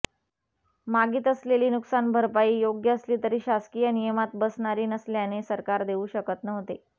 मागीत असलेली नुकसान भरपाई योग्य असली तरी शासकीय नियमात बसणारी नसल्याने सरकार देऊ शकत नव्हते